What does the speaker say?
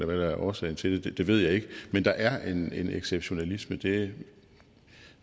hvad der er årsagen til det ved jeg ikke men der er en exceptionalisme det